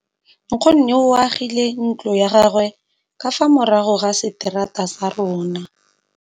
Nkgonne o agile ntlo ya gagwe ka fa morago ga seterata sa rona.